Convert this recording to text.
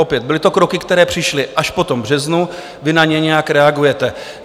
Opět byly to kroky, které přišly až po tom březnu, vy na ně nějak reagujete.